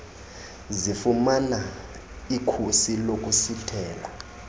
zifumana ikhusi lokusithela